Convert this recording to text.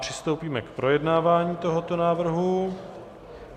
Přistoupíme k projednávání tohoto návrhu.